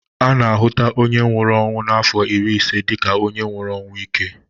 A na a hụta onye nwụrụ ọnwụ n'afọ iri ise dịka onye nwụrụ ọnwụ íke